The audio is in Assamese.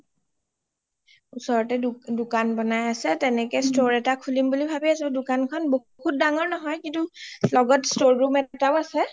ওচৰতে দুকোন বনাই আছে তেনেকে store এটা খুলিম বুলি ভাবি আছো দুকানখন বহুত দাঙৰ নহয় কিন্তু লগত store room এটাও আছে